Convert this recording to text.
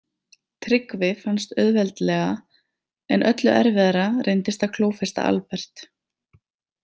Tryggvi fannst auðveldlega en öllu erfiðara reyndist að klófesta Albert.